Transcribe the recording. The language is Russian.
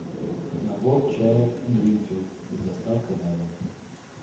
набор чая гринфилд с доставкой на дом